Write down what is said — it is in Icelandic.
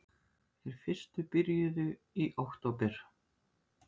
Þeir fyrstu byrjuðu í október